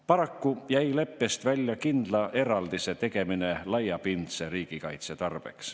Paraku jäi leppest välja kindla eraldise tegemine laiapindse riigikaitse tarbeks.